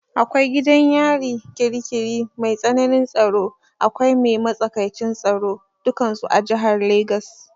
Akwai gidan yari ƙiri ƙiri mai tsanin tsaro, akwai mai matsakaicin tsaro dukansu a jihar Legas.